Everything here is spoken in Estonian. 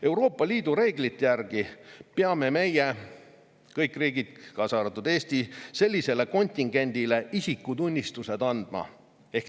Euroopa Liidu reeglite järgi peame meie – kõik riigid, kaasa arvatud Eesti – sellisele kontingendile isikutunnistused andma.